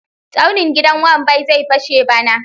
Tsaunin gidan Wambai zai fashe bana.